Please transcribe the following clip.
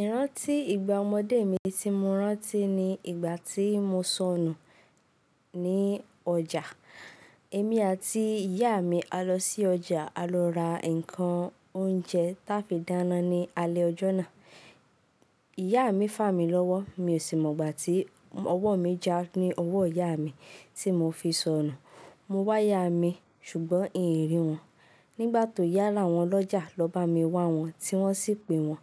Ìrántí ìgbà ọmọdé mi tí mo rántí ni ìgbà tí mo sọnù ní ọjà. Èmi àti ìyá mi á lọ sí ọjà, á lọ ra nǹkan oúnjẹ táa fi dáná ní alẹ́ jọ́ náà. Ìyá mi fà mí lọ́wọ́, mi ò sì mọ̀ gbà tí ọwọ́ mi já ní ọwọ́ ìyá mi tí mo fi sọnù. Mo wá ìyá mi ṣùgbọ́n ìn rí wọn. Nígbà tó yá, láwọn ọlọ́jà ló bá mi wá wọn tí wọ́n sì pe wọn.